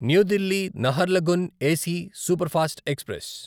new Delhi Naharlagun AC superfast express